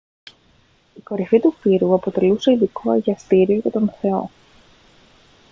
η κορυφή του πύργου αποτελούσε ειδικό αγιαστήριο για τον θεό